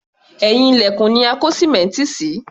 Ẹ̀yìn ilẹ̀kùn ni a kó sìmẹ́ǹtì sí